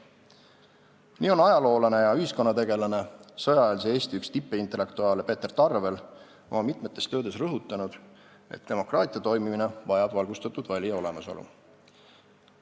Nii on ajaloolane ja ühiskonnategelane, sõjaeelse Eesti üks tippintellektuaale Peeter Tarvel oma mitmetes töödes rõhutanud, et demokraatia toimimine vajab valgustatud valija olemasolu.